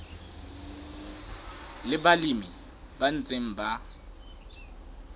le balemi ba ntseng ba